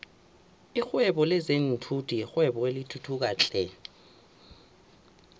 lihwebo lezinfhvthi yirwebo elithuthukayo flhe